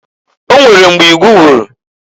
O nwere mgbe igu wuru.